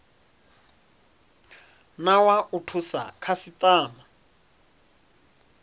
na wa u thusa khasitama